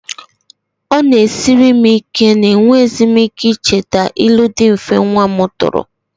It is a challenge to me that I can no longer remember the simple riddles my child threw at me.